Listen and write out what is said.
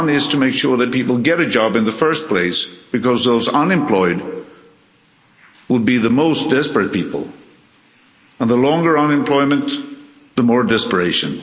One is to make sure that people get a job in the first place, given that the unemployed would be the most desperate people the longer the unemployment, the greater the desperation.